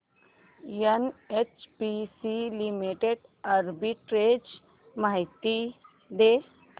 NHPC Limited arbitrage माहिती दे